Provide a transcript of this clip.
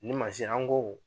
Nin mansin an ko